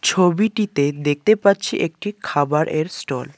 ছবিটিতে দেখতে পাচ্ছি একটি খাবারের স্টল ।